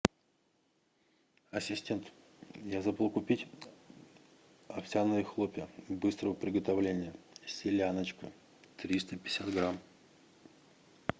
ассистент я забыл купить овсяные хлопья быстрого приготовления селяночка триста пятьдесят грамм